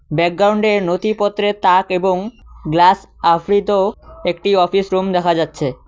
ব্যাকগ্রাউন্ডে নথিপত্রের তাক এবং গ্লাস আফ্রিত একটি অফিস রুম দেখা যাচ্ছে।